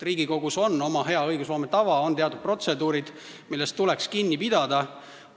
Riigikogus on oma hea õigusloome tava, on teatud protseduurid, millest tuleks kinni pidada.